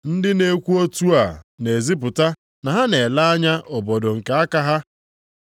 Ndị na-ekwu otu a na-ezipụta na ha na-ele anya obodo nke aka ha.